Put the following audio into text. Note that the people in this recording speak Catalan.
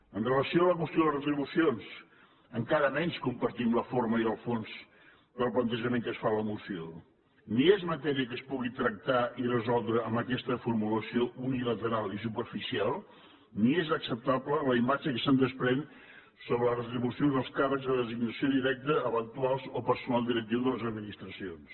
amb relació a la qüestió de les retribucions encara menys compartim la forma i el fons del plantejament que es fa en la moció ni és matèria que es pugui tractar i resoldre amb aquesta formulació unilateral i superficial ni és acceptable la imatge que se’n desprèn sobre les retribucions dels càrrecs de designació directa eventuals o personal directiu de les administracions